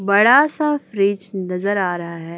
बड़ा सा फ्रिज नजर आ रहा है।